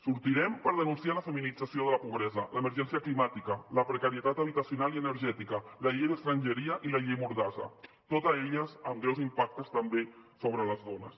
sortirem per denunciar la feminització de la pobresa l’emergència climàtica la precarietat habitacional i energètica la llei d’estrangeria i la llei mordassa totes elles amb greus impactes també sobre les dones